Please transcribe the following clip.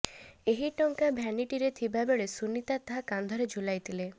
ଏହି ଟଙ୍କା ଭ୍ୟାନିଟିରେ ଥିବାବେଳେ ସୁନିତା ତାହା କାନ୍ଧରେ ଝୁଲାଇଥିଲେ